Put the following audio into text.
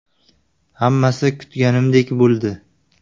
Hammasi kutganimdek bo‘ldi.